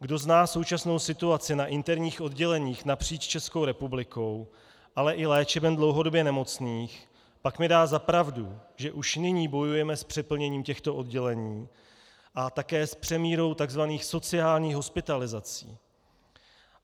Kdo zná současnou situaci na interních odděleních napříč Českou republikou, ale i léčeben dlouhodobě nemocných, pak mi dá za pravdu, že už nyní bojujeme s přeplněním těchto oddělení a také s přemírou tzv. sociálních hospitalizací.